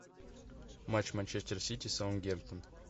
матч манчестер сити саутгемптон